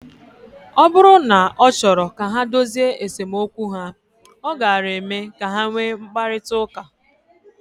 Ọ bụrụ na ọ chọrọ ka ha dozie esemokwu ha, ọ gaara eme ka ha nwee mkparịta ụka.